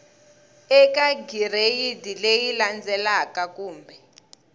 eka gireyidi leyi landzelaka kumbe